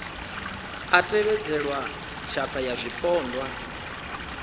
a tevhedzelwa tshatha ya zwipondwa